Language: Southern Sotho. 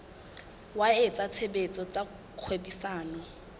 wa etsa tshebetso tsa kgwebisano